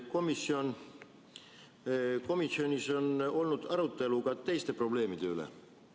Kas komisjonis on olnud arutelu ka teiste probleemide üle?